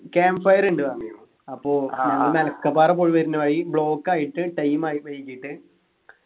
camp fire ഉണ്ട് പറഞ്ഞു അപ്പൊ ഈട മലക്കപ്പാറ പോയി വരുന്ന വഴി block ആയിട്ട് time ആയി വൈകീട്ട്